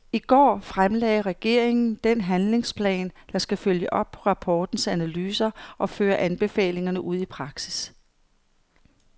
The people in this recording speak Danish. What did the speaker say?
I går fremlagde regeringen den handlingsplan, der skal følge op på rapportens analyser og føre anbefalingerne ud i praksis.